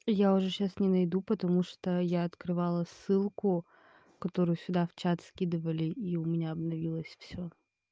я уже сейчас не найду потому что я открывала ссылку которую сюда в чат скидывали и у меня обновилась все